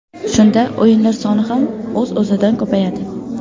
Shunda o‘yinlar soni ham o‘z-o‘zidan ko‘payadi.